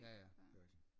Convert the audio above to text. Ja ja det er rigtigt